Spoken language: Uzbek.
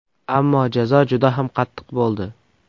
Ammo jazo juda ham qattiq bo‘ldi.